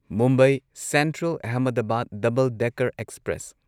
Mumbai central Ahmedabad double decker express